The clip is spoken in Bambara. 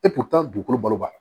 E kun taa dugukolo balo baga